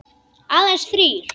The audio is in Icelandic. Aðeins þrír.